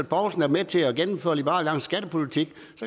poulsen er med til at gennemføre liberal alliances skattepolitik